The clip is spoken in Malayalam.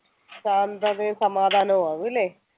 ശാന്തതയും സമാധാനവും ആവും അല്ലെ?